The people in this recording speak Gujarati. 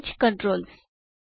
arrange controls